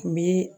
N bi